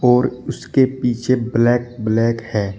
और उसके पीछे ब्लैक ब्लैक है।